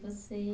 Você